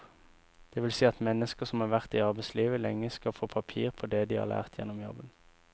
Det vil si at mennesker som har vært i arbeidslivet lenge skal få papir på det de har lært gjennom jobben.